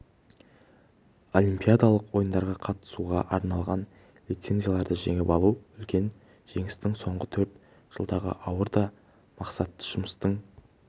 олимпиадалық ойындарға қатысуға арналған лицензияларды жеңіп алу үлкен жетістік соңғы төрт жылдағы ауыр да мақсатты жұмыстың